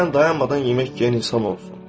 Məsələn, dayanmadan yemək yeyən insan olsun.